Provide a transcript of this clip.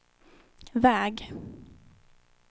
väg